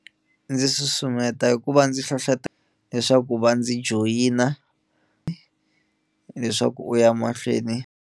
Ndzi susumeta hikuva ndzi hlohletela leswaku va ndzi joyina leswaku u ya mahlweni.